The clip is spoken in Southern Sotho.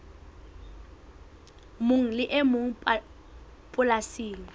mong le e mong polasing